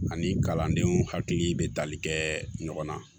Ani kalandenw hakili bɛ tali kɛ ɲɔgɔn na